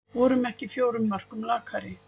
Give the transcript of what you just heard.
Vorum ekki fjórum mörkum lakari